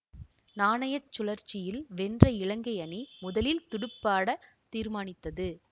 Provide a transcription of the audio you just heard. நாணய சுழற்சியில் வென்ற இலங்கை அணி முதலில் துடுப்பாடத் தீர்மானித்தது